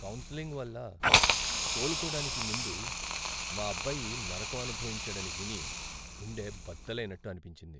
Counselling వల్ల కోలుకోడానికి ముందు మా అబ్బాయి నరకం అనుభవించాడని విని గుండె బద్దలైనట్టు అనిపించింది.